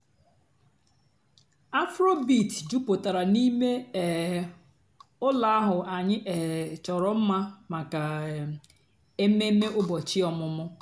afróbeat jùpụ́tárá n'íìmé um ụ́lọ́ àhú́ ànyị́ um chọ́rọ́ m̀ma màkà um èmèmé ụ́bọ̀chị́ ọ̀mụ́mụ́.